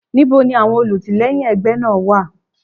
Níbo ni àwọn olùtìlẹ́yìn ẹgbẹ́ náà wà?